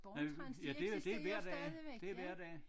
Nej ja det det hver dag det hver dag